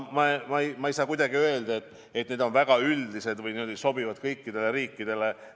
Ma ei saa kuidagi öelda, et need eesmärgid on väga üldised või sobivad kõikidele riikidele.